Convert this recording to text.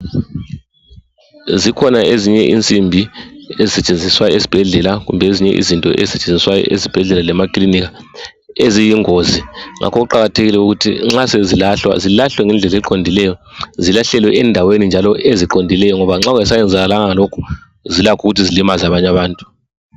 Zikhona ezinye insimbi ezisetshenziswa esibhedlela kumbe ezinye izinto ezisetshenziswayo esibhedlela lemaklinika eziyingozi ngakho kuqakathekile ukuthi nxa sezilahlwa zilahlwe ngendlela eqondileyo zilahlelwe endaweni njalo eziqondileyo ngoba nxa kungasayenzakalanga lokhu zilakho ukuthi zilimaze abanye abantu